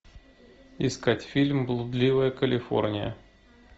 искать фильм блудливая калифорния